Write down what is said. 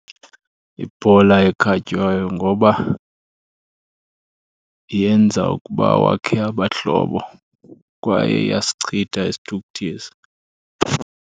Yibhola ekhatywayo, ngoba yenza ukuba wakhe abahlobo kwaye iyasichitha isithukuthezi.